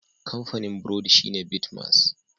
Kamfanin burodi shine Bitmas.